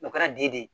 O kɛra den de ye